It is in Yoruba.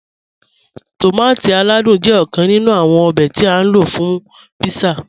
Tọmátí aládùn jẹ́ ọ̀kàn nínú awọn òbè tí a ló fún pítsà.